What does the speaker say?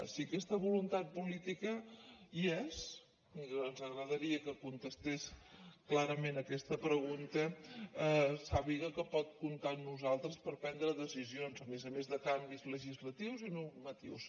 si aquesta voluntat política hi és i ens agradaria que contestés clarament aquesta pregunta sàpiga que pot comptar amb nosaltres per prendre decisions a més a més de canvis legislatius i normatius